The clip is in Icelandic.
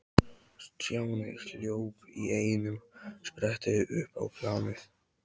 Stjáni hljóp í einum spretti upp á planið.